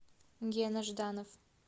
гена жданов